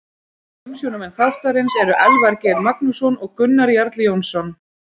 Umsjónarmenn þáttarins eru Elvar Geir Magnússon og Gunnar Jarl Jónsson.